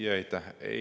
Jaa, aitäh!